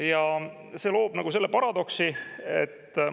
Ja see loob selle paradoksi, et …